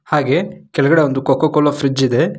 ಹಾಗೆ ಕೆಳ್ಗಡೆ ಒಂದು ಕೋಕಾ ಕೋಲಾ ಫ್ರಿಡ್ಜ್ ಇದೆ.